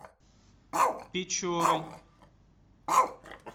печорой